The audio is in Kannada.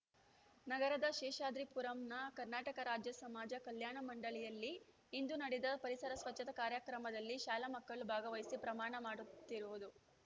ನಗರದ ಶೇಷಾದ್ರಿಪುರಂನ ಕರ್ನಾಟಕ ರಾಜ್ಯ ಸಮಾಜ ಕಲ್ಯಾಣ ಮಂಡಳಿಯಲ್ಲಿ ಇಂದು ನಡೆದ ಪರಿಸರ ಸ್ವಚ್ಛತಾ ಕಾರ್ಯಕ್ರಮದಲ್ಲಿ ಶಾಲಾ ಮಕ್ಕಳು ಭಾಗವಹಿಸಿ ಪ್ರಮಾಣ ಮಾಡುತ್ತಿರುವುದು